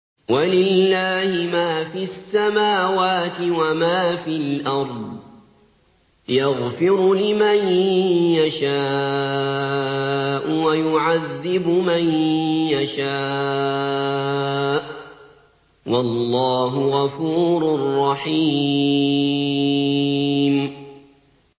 وَلِلَّهِ مَا فِي السَّمَاوَاتِ وَمَا فِي الْأَرْضِ ۚ يَغْفِرُ لِمَن يَشَاءُ وَيُعَذِّبُ مَن يَشَاءُ ۚ وَاللَّهُ غَفُورٌ رَّحِيمٌ